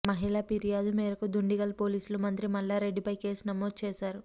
మహిళ ఫిర్యాదు మేరకు దుండిగల్ పోలీసులు మంత్రి మల్లారెడ్డిపై కేసు నమోదు చేశారు